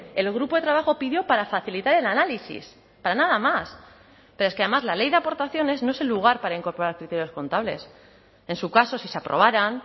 el grupo de trabajo pidió para facilitar el análisis para nada más pero es que además la ley de aportaciones no es el lugar para incorporar criterios contables en su caso si se aprobarán